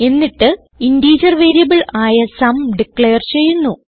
എന്നിട്ട് integer variable ആയ സും ഡിക്ലെയർ ചെയ്യുന്നു